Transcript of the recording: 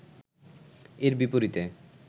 এর বিপরীতে